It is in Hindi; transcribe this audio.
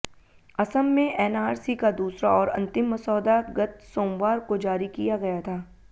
असम में एनआरसी का दूसरा और अंतिम मसौदा गत सोमवार को जारी किया गया था